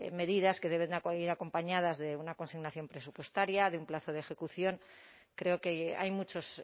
medidas que deben acudir acompañadas de una consignación presupuestaria de un plazo de ejecución creo que hay muchos